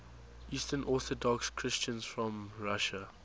eastern orthodox christians from russia